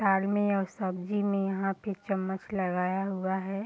दाल में और सब्जी में यहाँ पे चम्मच लगाया हुआ है।